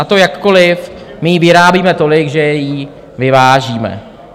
A to jakkoliv my jí vyrábíme tolik, že ji vyvážíme.